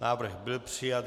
Návrh byl přijat.